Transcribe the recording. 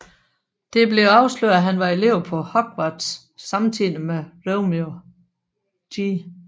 Det bliver afsløret at han var elev på Hogwarts samtidig med Romeo G